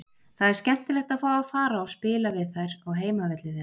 Það er skemmtilegt að fá að fara og spila við þær á heimavelli þeirra.